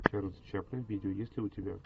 чарльз чаплин видео есть ли у тебя